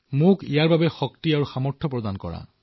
মোক ইয়াৰ বাবে শক্তি আৰু সামৰ্থ প্ৰদান কৰক